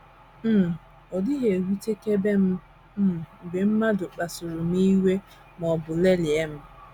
“ um Ọ dịghị ewutekebe m um mgbe mmadụ kpasuru um m iwe ma ọ bụ lelịa m.